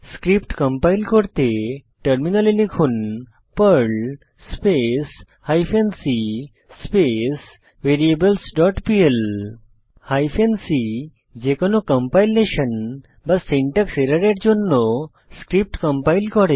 script compile করতে টার্মিনালে লিখুন Perl space hyphen c space variables dot PL hyphen c switch যেকোনো compilation syntax এররের জন্য স্ক্রিপ্ট কম্পাইল করে